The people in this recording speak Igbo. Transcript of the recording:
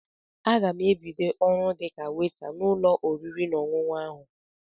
Aga m ebido ọrụ dịka weta n'ụlọ oriri na ọṅụṅụ ahụ.